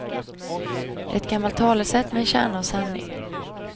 Det är ett gammalt talesätt med en kärna av sanning.